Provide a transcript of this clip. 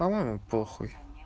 помоему похуй